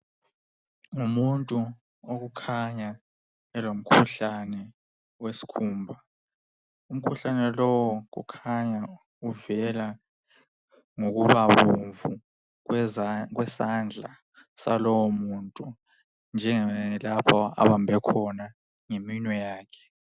Umuntu okukhanya elomkhuhlane wesikhumba. Umkhuhlane lowu kukhanya uvela ngokubabomvu kwesandla salowomuntu njengalapha abambe khona ngeminwe yakhe.